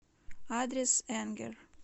адрес энгер